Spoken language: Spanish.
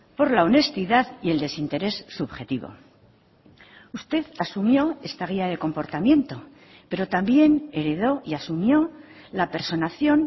por la honestidad y el desinterés subjetivo usted asumió esta guía de comportamiento pero también heredó y asumió la personación